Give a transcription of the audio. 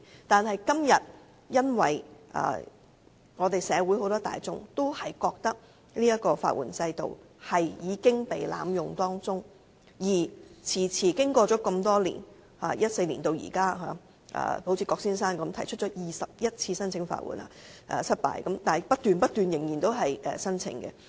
但是，今天社會大眾都認為法援制度已被濫用，好像郭先生般，由2014年至今共經歷了21次申請法援失敗，但仍然不斷提出申請。